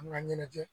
An ka ɲɛnajɛ